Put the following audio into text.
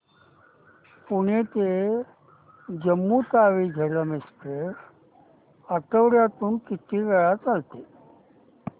पुणे ते जम्मू तावी झेलम एक्स्प्रेस आठवड्यातून किती वेळा चालते